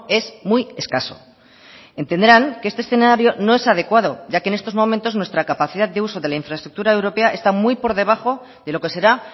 es muy escaso entenderán que este escenario no es adecuado ya que en estos momentos nuestra capacidad de uso de la infraestructura europea está muy por debajo de lo que será